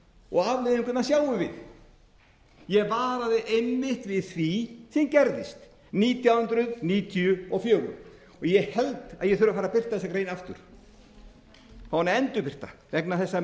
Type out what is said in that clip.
og afleiðinguna sjáum við ég varaði einmitt við því sem gerðist nítján hundruð níutíu og fjögur ég held að ég þurfi að fara að birta þessa grein aftur fá hana endurbirta vegna þess að